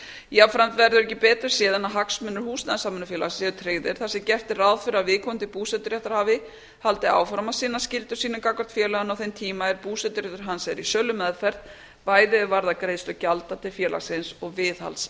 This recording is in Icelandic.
jafnframt verður ekki betur séð en að hagsmunir húsnæðissamvinnufélaga séu tryggðir þar sem gert er ráð fyrir að viðkomandi búseturéttarhafi haldi áfram að sinna skyldum sínum gagnvart félaginu á þeim tíma er búseturéttur hans er í sölumeðferð bæði er varðar greiðslu gjalda til félagsins og viðhalds